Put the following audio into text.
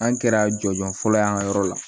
An kɛra jɔnjɔn fɔlɔ ye an ka yɔrɔ la